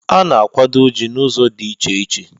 A na-akwado Ji n'ụzọ dị iche iche